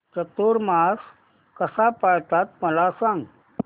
चातुर्मास कसा पाळतात मला सांग